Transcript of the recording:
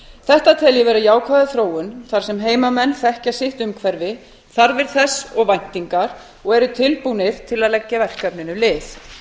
þetta tel ég jákvæða þróun þar sem heimamenn þekkja sitt umhverfi þarfir þess og væntingar og eru tilbúnir að leggja verkefninu lið